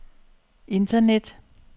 internet